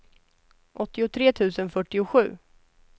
åttiotre tusen fyrtiosju